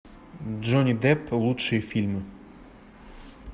джонни депп лучшие фильмы